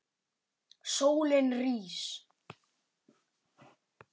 Sólin rís.